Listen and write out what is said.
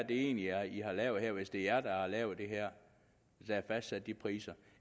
egentlig er i har lavet her hvis det er jer der har lavet det her og fastsat de priser